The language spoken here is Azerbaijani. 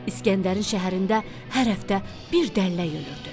İskəndərin şəhərində hər həftə bir dəllək ölürdü.